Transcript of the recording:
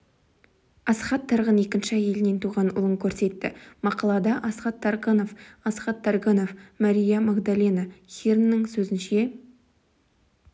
асхат тарғын екінші әйелінен туған ұлын көрсетті мақалада асхат таргынов асхат таргынов мария магдалена хирннің сөзінше